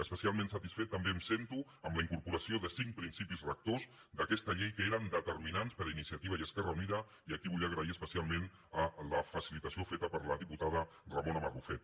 especialment satisfet també em sento amb la incorporació de cinc principis rectors d’aquesta llei que eren determinants per iniciativa i esquerra unida i aquí vull agrair especialment la facilitació feta per la diputada ramona barrufet